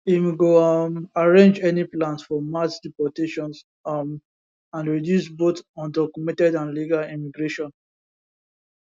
im go um arrange any plans for mass deportations um and reduce both undocumented and legal immigration